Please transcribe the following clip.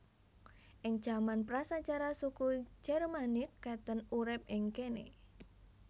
Ing jaman prasajarah suku Jermanik Catten urip ing kéné